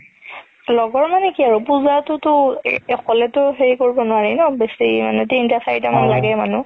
লগৰ মানে কি আৰু পুজাতোতো অকলেতো সেই কৰিব নোৱৰি ন বেচি তিনতা চাৰিতা মান লাগে মানুহ